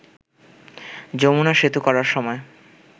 যমুনা সেতু করার সময়